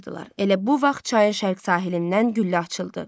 Elə bu vaxt çayın şərq sahilindən güllə açıldı.